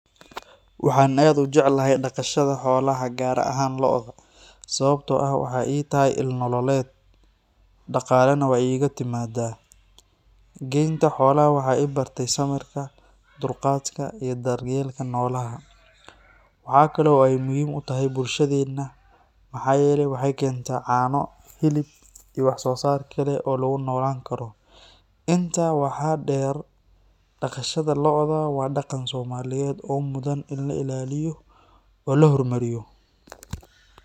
Waxaan aad u jeclahay dhaqashada xoolaha gaar ahaan lo’da, sababtoo ah waxay ii tahay il nololeed, dhaqaalena way iiga timaadaa. Geynta xoolaha waxay i bartay samirka, dulqaadka iyo daryeelka noolaha. Waxaa kale oo ay muhiim u tahay bulshadeena maxaa yeelay waxay keentaa caano, hilib, iyo wax soo saar kale oo lagu noolaan karo. Intaa waxaa dheer, dhaqashada lo’da waa dhaqan Soomaaliyeed oo mudan in la ilaaliyo oo la horumariyo.